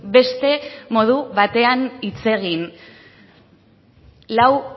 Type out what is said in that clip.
beste modu batean hitz egin lau